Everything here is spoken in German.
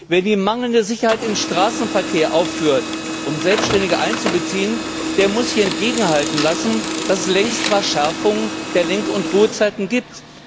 Wer die mangelnde Sicherheit im Straßenverkehr aufführt, um Selbständige einzubeziehen, der muss sich hier entgegenhalten lassen, dass es längst Verschärfungen der Lenk und Ruhezeiten gibt.